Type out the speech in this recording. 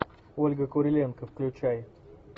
ольга куриленко включай